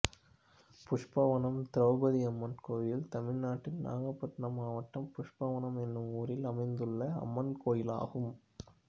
புஷ்பவனம் திரௌபதியம்மன் கோயில் தமிழ்நாட்டில் நாகப்பட்டினம் மாவட்டம் புஷ்பவனம் என்னும் ஊரில் அமைந்துள்ள அம்மன் கோயிலாகும்